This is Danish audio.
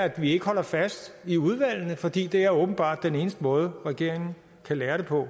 at vi ikke holder fast i udvalgene fordi det er åbenbart den eneste måde regeringen kan lære det på